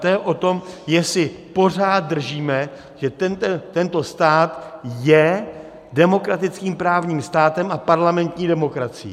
To je o tom, jestli pořád držíme, že tento stát je demokratickým právním státem a parlamentní demokracií.